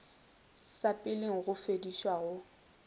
sa peleng go fediša go